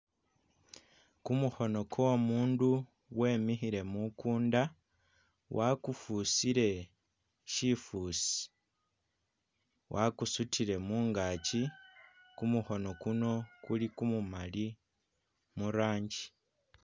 Kumukhono kwo umundu wemikhile mumukunda wakufusile shifusi, wakusutile mungaki, kumukhono Kuno kuli kumumali murangi.